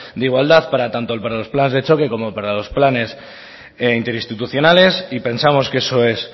de igualdad tanto para los planes de choque como para los planes interinstitucionales y pensamos que eso es